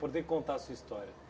Poder contar a sua história?